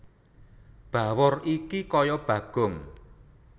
Bawor iki kaya Bagong